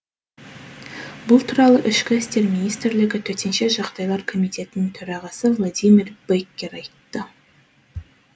бұл туралы ішкі істер министрлігі төтенше жағдайлар комитетінің төрағасы владимир беккер айтты